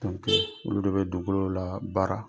olu de be dugukolo la baara